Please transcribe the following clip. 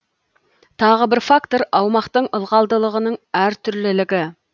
тағы бір фактор аумақтың ылғалдылығының әртүрлілігі